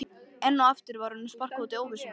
Enn og aftur var honum sparkað út í óvissuna.